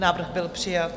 Návrh byl přijat.